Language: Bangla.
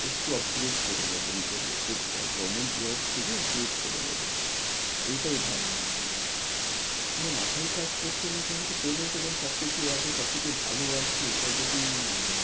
একটু upgrade করে নেব নিজেকে একটু govornment job খুঁজে upgrade করে নেব এটাই ভাবছি। মাথাই কাজ করছে না কেন পেমেন্ট ফেমেন্ট সব কিছু আছে সব কিছু ভালো আছে এটা যদি